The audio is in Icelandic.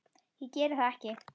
Ég geri það ekki.